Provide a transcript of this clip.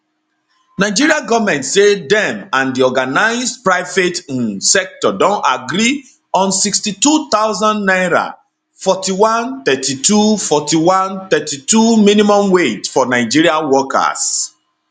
nigeria goment say dem and di organised private um sector don agree on 62000 naira 41 32 41 32 minimum wage for nigeria workers